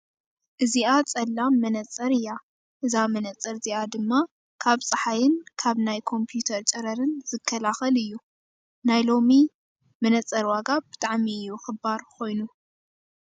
እዚኣ ፀላም መነፀር እያ። እዛ መነፃር እዚኣ ድማ ካብ ፀሓይን ካብ ናይ ኮምፑተር ጨረረን ዝኽላኸል እዩ። ናይሎሚ መነፀር ዋጋ ብጣዕሚ እዩ ክባር ኮይኑ።